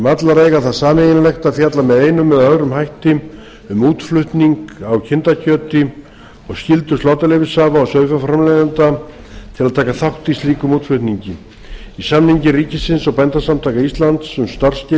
allar eiga það sameiginlegt að fjalla með einum eða öðrum hætti um útflutning á kindakjöti og skyldu sláturleyfishafa og sauðfjárframleiðenda til að taka þátt í slíkum útflutningi í samningi ríkisins og bændasamtaka íslands um starfsskilyrði